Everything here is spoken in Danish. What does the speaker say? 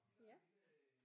Ja